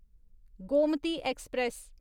Gomti express